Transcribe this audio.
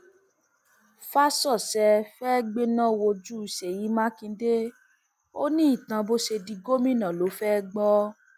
fàsọṣe fẹẹ gbẹná wojú sèyí mákindè ó ní itan bó ṣe di gómìnà ló fẹẹ gbọ